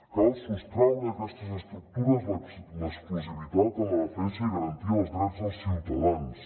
cal sostraure d’aquestes estructures l’exclusivitat en la defensa i garantir els drets dels ciutadans